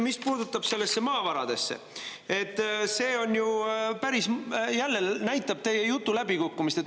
Mis puutub maavaradesse, siis jälle näitab teie jutt läbikukkumist.